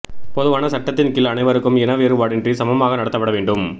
பொதுவான சட்டத்தின் கீழ் அனைவருக்கும் இன வேறுபாடின்றி சமமாக நடத்தப்பட வேண்டும்